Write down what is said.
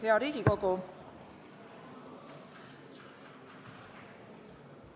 Hea Riigikogu!